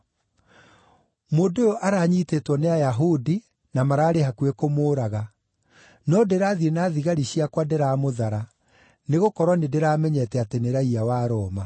Mũndũ ũyũ aranyiitĩtwo nĩ Ayahudi na mararĩ hakuhĩ kũmũũraga, no ndĩrathiĩ na thigari ciakwa ndĩramũthara, nĩgũkorwo nĩndĩramenyete atĩ nĩ raiya wa Roma.